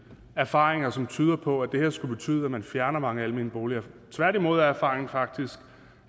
erfaringer som tyder på at det her skulle betyde at man fjerner mange almene boliger tværtimod er erfaringen faktisk